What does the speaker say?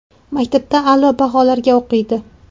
Maktabda a’lo baholarga o‘qiydi.